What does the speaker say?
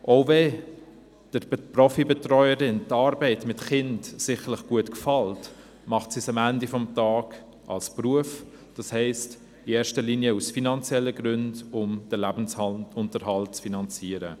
Auch wenn der Profi-Betreuerin die Arbeit mit Kindern sicherlich gut gefällt, macht sie es am Ende des Tages als Beruf, das heisst in erster Linie aus finanziellen Gründen, um den Lebensunterhalt zu finanzieren.